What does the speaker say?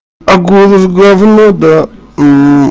а голос говно да